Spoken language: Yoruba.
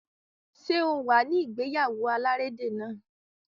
Ṣé o wà ní ìgéyáwó alárédè náà?